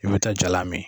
I bɛ taa jalan min